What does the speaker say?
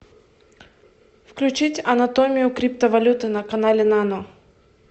включить анатомию криптовалюты на канале нано